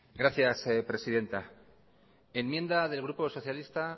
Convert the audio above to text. gracias presidenta enmienda del grupo socialista